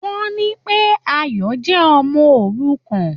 Wọ́n ní pé Ayọ̀ jẹ́ Ọmọ òrukàn.